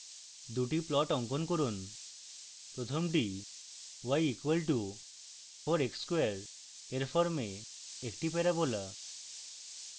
দুটি plots অঙ্কন করুন প্রথমটি y = 4x square এর form একটি প্যারাবোলা